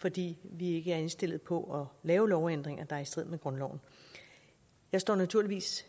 fordi vi ikke er indstillet på lave lovændringer der er i strid med grundloven jeg står naturligvis